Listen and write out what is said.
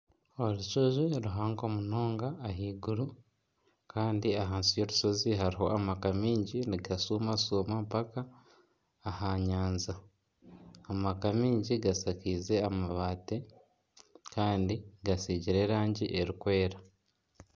Orushozi ruhango munonga ahaiguru kandi ahansi y'orushozi hariho amaka mingi nigashumashuma mpaka aha nyanja, amaka mingi gashakize amabaati kandi gasigiire rangi erikwera.